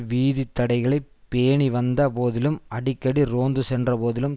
வீதி தடைகளை பேணிவந்த போதிலும் அடிக்கடி ரோந்து சென்ற போதிலும்